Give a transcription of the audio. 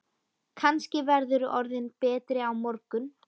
Kannski verðurðu orðinn betri á morgun.